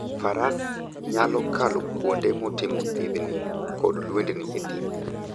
Faras nyalo kalo kuonde motimo thidhni kod lwendni e thim.